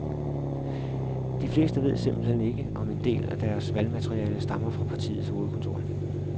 De fleste ved simpelt hen ikke, om en del af deres valgmateriale stammer fra partiets hovedkontor.